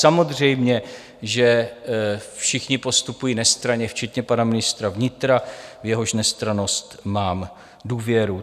Samozřejmě že všichni postupují nestranně včetně pana ministra vnitra, v jehož nestrannost mám důvěru.